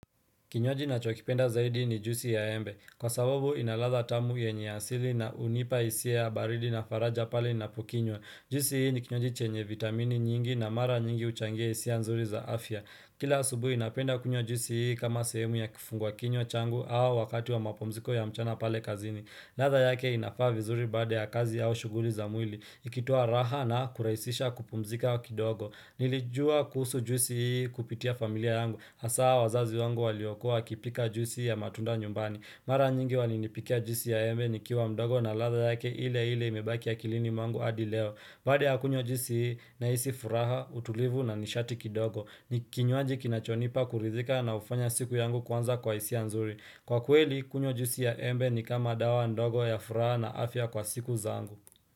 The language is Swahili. Kinywaji ninacho kipenda zaidi ni juisi ya embe. Kwa sababu inaradha tamu yenye asili na hunipa hisia ya baridi na faraja pale ninapokinywa Juisi hii ni kinywaji chenye vitamini nyingi na mara nyingi huchangia hisia nzuri za afya. Kila subuhi napenda kunywa juisi hii kama sehemu ya kifungua kinywa changu au wakati wa mapumziko ya mchana pale kazini. Radha yake inafaa vizuri baada ya kazi au shughuli za mwili. Ikitoa raha na kurahisisha kupumzika wa kidogo. Nilijua kusuhu juisi hii kupitia familia yangu Hasa wazazi wangu waliokuwa wakipika juisi hii ya matunda nyumbani Mara nyingi walinipikia juisi ya embe nikiwa mdogo na radha yake ile ile imebaki ya akilini mwangu hadi leo Baada ya kunywa juisi hii nahisi furaha utulivu na nishati kidogo ni kinywaji kinachonipa kurizika na hufanya siku yangu kuanza kwa hisia nzuri Kwa kweli kunywa juisi ya embe ni kama dawa ndogo ya furaha na afya kwa siku zangu.